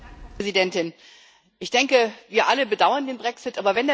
Frau Präsidentin! Ich denke, wir alle bedauern den Brexit.